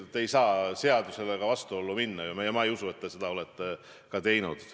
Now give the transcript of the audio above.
Ei saa ju seadusega vastuollu minna ja ma ei usu, et te oleksite seda ka teinud.